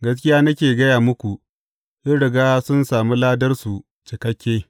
Gaskiya nake gaya muku, sun riga sun sami ladarsu cikakke.